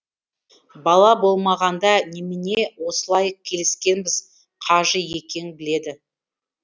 бала болмағанда немене осылай келіскенбіз қажы екең біледі